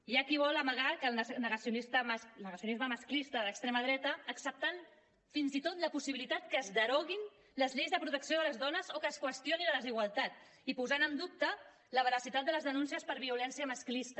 hi ha qui vol amagar el negacionisme masclista de l’extrema dreta acceptant fins i tot la possibilitat que es deroguin les lleis de protecció de les dones o que es qüestioni la desigualtat i posant en dubte la veracitat de les denúncies per violència masclista